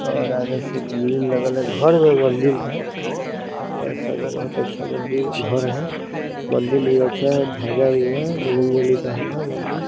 और आगे से भीड़ लगल है घर व मंदिर है | ऐसे बहुत अच्छा मंदिर घर है | मंदिर भी अच्छा है धाजा भी है बजरंगबली का मंदिर |